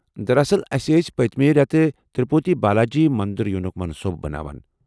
دراصل، ٲسہِ ٲسۍ پٔتِمِہ رٮ۪تہٕ تِرپوتی بالاجی منٛدر ینُک منصوبہٕ بناوان ۔